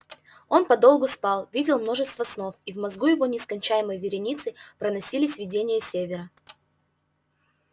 он подолгу спал видел множество снов и в мозгу его нескончаемой вереницей проносились видения севера